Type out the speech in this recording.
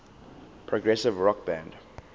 progressive rock band